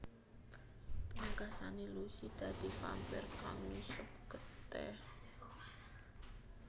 Pungkasane Lucy dadi vampire kang ngisep getih